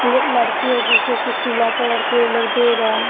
ये लड़की है जिसको कुछ पीला कलर के ये लोग दे रहे हैं।